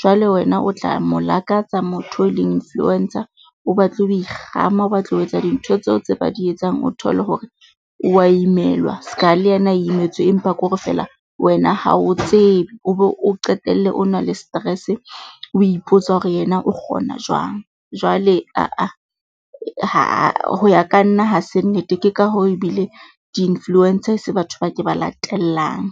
Jwale wena o tla mo lakatsa motho e leng influencer, o batle ho ikgama, o batle ho etsa dintho tseo tse ba di etsang. O thole hore o wa imelwa ska le yena imetswe empa kore feela wena ha o tsebe o be o qetelle o na le stress. O ipotsa hore yena o kgona jwang. Jwale ah-ah ho ya ka nna ha se nnete. Ke ka hoo ebile di-influencer e se batho bao ke ba latellang.